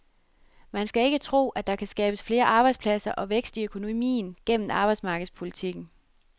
Man skal ikke tro, at der kan skabes flere arbejdspladser og vækst i økonomien gennem arbejdsmarkedspolitikken.